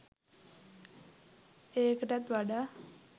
ඒකටත් වඩා